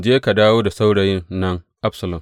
Je ka, ka dawo da saurayin nan Absalom.